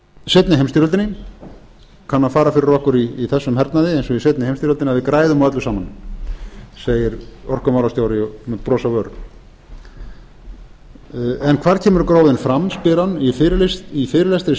seinni heimsstyrjöldinni kann að fara fyrir okkur í þessum hernaði eins og í seinni heimsstyrjöldinni að við græðum á öllu saman segir orkumálastjóri með bros á vör en hvar kemur gróðinn fram spyr hann í fyrirlestri